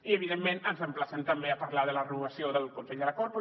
i evidentment ens emplacen també a parlar de la renovació del consell de la corpo